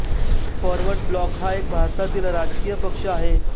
forward Bloc हा एक भारतातील राजकीय पक्ष आहे